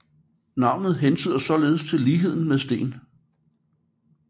Navnet hentyder således til ligheden med sten